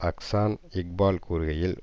அஹ்சான் இக்பால் கூறுகையில்